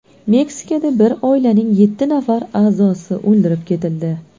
Meksikada bir oilaning yetti nafar a’zosi o‘ldirib ketildi.